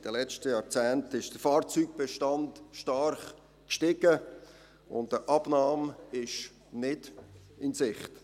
In den letzten Jahrzehnten ist der Fahrzeugbestand stark gestiegen, und eine Abnahme ist nicht in Sicht.